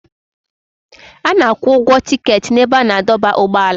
A na-akwụ ụgwọ tiketi n'ebe a na-adọba ụgbọala.